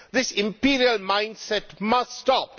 This imperial mindset must stop.